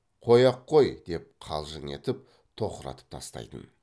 қой ақ қой деп қалжың етіп тоқыратып тастайтын